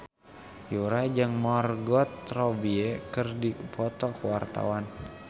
Yura jeung Margot Robbie keur dipoto ku wartawan